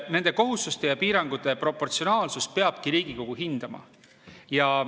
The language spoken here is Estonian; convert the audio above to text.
Nende kohustuste ja piirangute proportsionaalsust peabki Riigikogu hindama.